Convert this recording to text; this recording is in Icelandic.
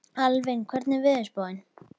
Alvin, hvernig er veðurspáin?